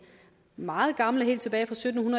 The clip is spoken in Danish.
meget gamle kroer helt tilbage fra sytten